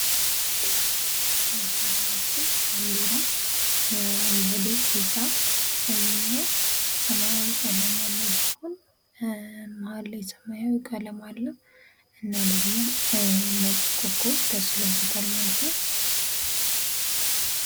የሀገራችን ባንዲራ አረንጓዴ ቢጫ ቀይና ሰማያዊ ቀለም ያለዉ ሲሆን መሀል ላይ ሰማያዊ ቀለም አለዉ እና ደግሞ ነጭ ኮኮብ ተስሎበታል ማለት ነዉ።